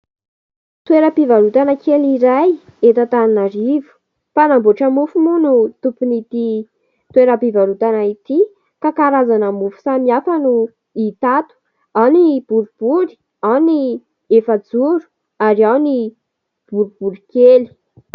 Toeram-pivarotana kely iray eto Antananarivo. Mpanamboatra mofo moa no tompon'itỳ toeram-pivarotana itỳ ka karazana mofo samihafa no hita ato. Ao ny boribory, ao ny efa-joro ary ao ny boribory kely.